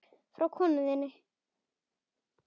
Frá konunni þinni?